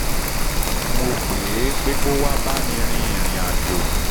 mo pè é pé kó wá bá mi rìnrìn àjò